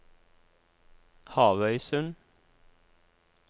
Havøysund